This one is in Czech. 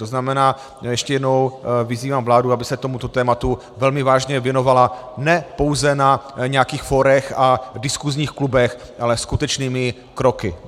To znamená, ještě jednou vyzývám vládu, aby se tomuto tématu velmi vážně věnovala, ne pouze na nějakých fórech a diskusních klubech, ale skutečnými kroky.